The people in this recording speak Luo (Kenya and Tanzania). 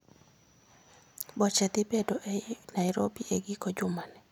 Boche dhi bedo ei Nairobi e giko jumani